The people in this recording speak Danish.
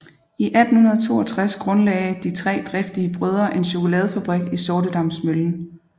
I 1862 grundlagde de tre driftige brødre en chokoladefabrik i Sortedamsmøllen